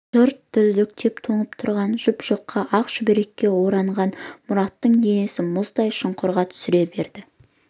жұрт дірдектеп тоңып тұрғанда жұп-жұқа ақ шүберекке ораған мұраттың денесін мұздай шұңқырға түсіре берді